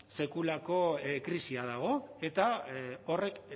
sekulako krisia dago eta horrek